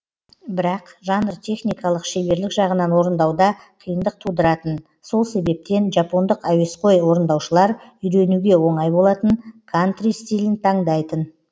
бірақ жанр техникалық шеберлік жағынан орындауда қиындық тудыратын сол себептен жапондық әуесқой орындаушылар үйренуге оңай болатын кантри стилін таңдайтын